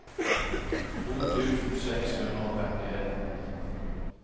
to tusen seks hundre og femtien